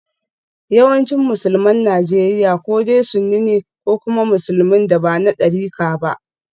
Yawancin Musulman Najeriya ko dai sunni ne ko kuma musulmin da ba na darika ba.